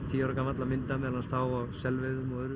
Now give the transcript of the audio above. tíu ára gamall að mynda meðal annars þá á selveiðum og öðru